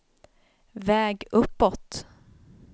väg uppåt